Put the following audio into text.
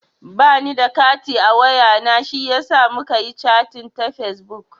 Ba ni da kati a wayana shiyasa muka yi chating ta fesbuk.